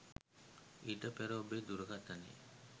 ඊට පෙර ඔබේ දුරකතනය